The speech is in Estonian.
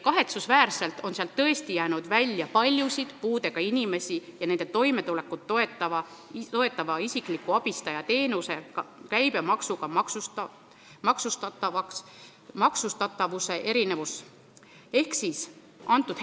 Kahetsusväärselt on sealt paljusid puudega inimesi ja nende toimetulekut toetava isikliku abistaja teenuse käibemaksuga maksustamise erinevus tõesti välja jäänud.